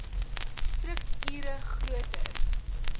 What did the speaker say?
strukt ure groter